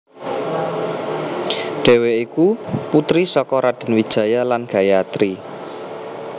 Dhèwèké iku putri saka Raden Wijaya lan Gayatri